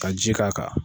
Ka ji k'a kan